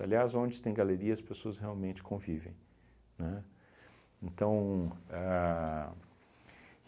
Aliás, onde tem galeria, as pessoas realmente convivem, né? Então ahn